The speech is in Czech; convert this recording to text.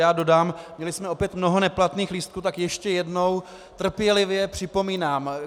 Já dodám, měli jsme opět mnoho neplatných lístků, tak ještě jednou trpělivě připomínám.